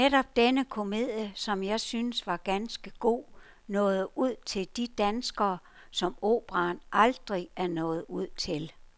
Netop denne komedie, som jeg synes var ganske god, nåede ud til de danskere, som operaen aldrig er nået ud til.